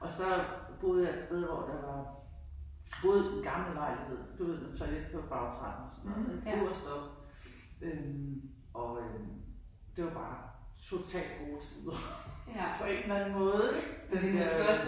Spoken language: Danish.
Og så boede jeg et sted hvor der var boede gammel lejlighed du ved toilet på bagtrappen sådan noget ik øvertst oppe øh og øh det var bare totalt gode tider på en eller anden måde ik den der